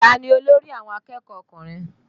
Tani olórí àwọn akẹ́kọ̀ọ́ ọkùnrin?